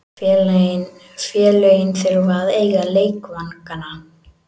Félögin þurfa að eiga leikvangana.